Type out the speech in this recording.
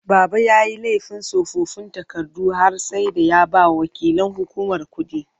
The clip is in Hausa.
Baba yayi laifin tsofaffin takardu har sai da ya bawa waƙilan hukumar kuɗi.